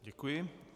Děkuji.